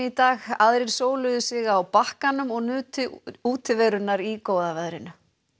dag aðrir sig á bakkanum og nutu útiverunnar í góða veðrinu